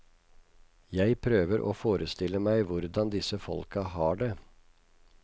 Jeg prøver å forestille meg hvordan disse folka har det.